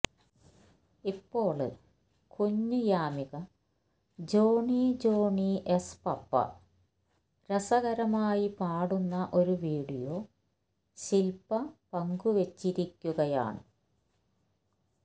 ഇപ്പോള് കുഞ്ഞ് Yamika Johny Johny yes papa രസകരമായി പാടുന്ന ഒരു വീഡിയോ ശില്പ പങ്കുവച്ചിരിക്കയാണ്